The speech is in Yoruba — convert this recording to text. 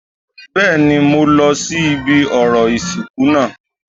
Bẹ́ẹ̀ni, mo lọ sí ibi orò ìsìnkú náà